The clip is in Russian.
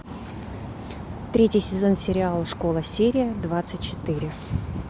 третий сезон сериала школа серия двадцать четыре